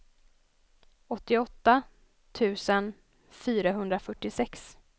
åttioåtta tusen fyrahundrafyrtiosex